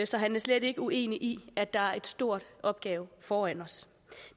så han er slet ikke uenig i at der er en stor opgave foran os